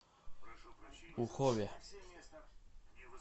ухове